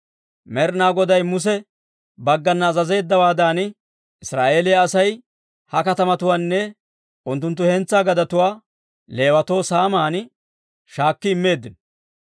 Med'ina Goday Muse baggana azazeeddawaadan, Israa'eeliyaa Asay ha katamatuwaanne unttunttu hentsaa gadetuwaa Leewatoo saaman shaakki immeeddino.